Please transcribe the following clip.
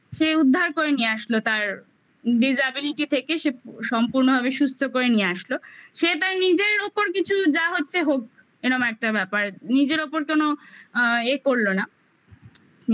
সে উদ্ধার করে নিয়ে আসলো তার disability থেকে সে সম্পূর্ণভাবে সুস্থ করে নিয়ে আসলো সে তার নিজের ওপর কিছু যা হচ্ছে হোক এরম একটা ব্যাপার নিজের ওপর কোনো আ ইয়ে করলো না